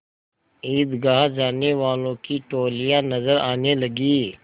ईदगाह जाने वालों की टोलियाँ नजर आने लगीं